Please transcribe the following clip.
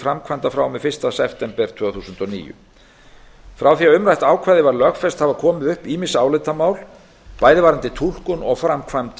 framkvæmda frá og með fyrsta september tvö þúsund og níu frá því að umrætt ákvæði var lögfest hafa komið upp ýmis álitamál bæði varðandi túlkun og framkvæmd